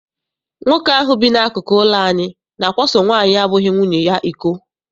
Nwoke ahụ bi n'akụkụ ụlọ anyị na-akwaso nwaanyị abụghị nwunye ya iko.